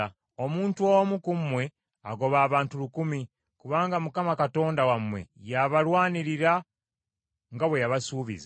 Omuntu omu ku mmwe agoba abantu lukumi, kubanga Mukama Katonda wammwe yaabalwanirira nga bwe yabasuubiza.